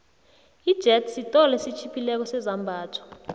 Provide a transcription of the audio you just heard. ijethi siolo esitjhiphileko sezambatho